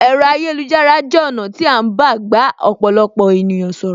Ẹ̀rọ ayélujára jẹ ọ̀nà tí a ń gbà bá ọ̀pọ̀lọpọ̀ ènìyàn sọ̀rọ̀.